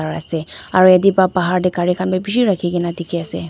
aru yate bahar te gari khan bhi bishih rakhi kena dekhi ase.